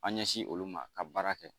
An ɲɛsin olu ma ka baara kɛ